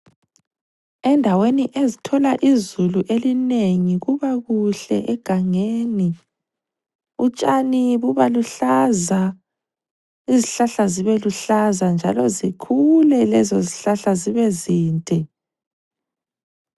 Endaweni ezithola izulu elinengi kubakuhle egangeni utshani bubaluhlaza izihlahla zibeluhlaza njalo zikhule lezo zihlahla zibe zinde.